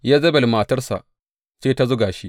Yezebel matarsa ce ta zuga shi.